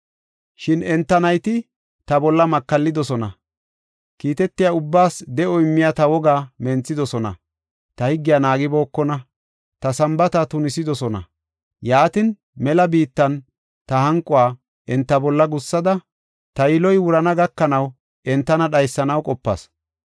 “Shin enta nayti ta bolla makallidosona; kiitetiya ubbaas de7o immiya ta wogaa menthidosona; ta higgiya naagibookona; ta Sambaata tunisidosona. Yaatin, mela biittan ta hanquwa enta bolla gussada ta yiloy wurana gakanaw entana dhaysanaw qopas.